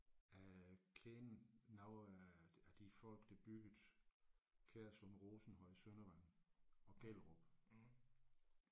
Jeg kender nogle af af de folk der byggede Kjærslund Rosenhøj Søndervang og Gellerup